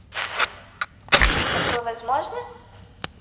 такое возможно